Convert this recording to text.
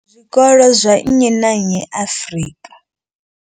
Zwikolo zwa nnyi na nnyi Afrika.